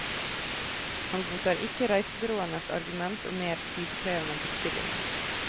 Han godtar ikke reisebyråenes argument om mer tidkrevende bestillinger.